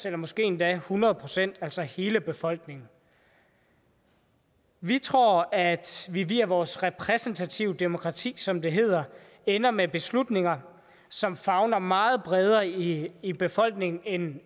eller måske endda hundrede procent altså hele befolkningen vi tror at vi via vores repræsentative demokrati som det hedder ender med beslutninger som favner meget bredere i i befolkningen end